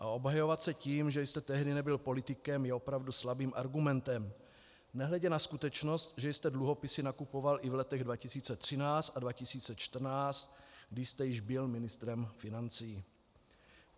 A obhajovat se tím, že jste tehdy nebyl politikem, je opravdu slabým argumentem, nehledě na skutečnost, že jste dluhopisy nakupoval i v letech 2013 a 2014, když jste již byl ministrem financí.